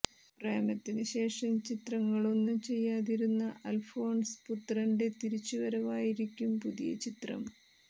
പ്രേമത്തിന് ശേഷം ചിത്രങ്ങളൊന്നും ചെയ്യാതിരുന്ന അല്ഫോന്സ് പുത്രന്റെ തിരിച്ചുവരവായിരിക്കും പുതിയ ചിത്രം